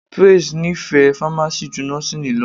Praise nífẹ̀ẹ́ Fámásì ju Nọ́síìnì lọ